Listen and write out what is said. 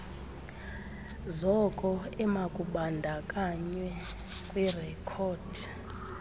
zoko emakubandakanywe kwirekhodi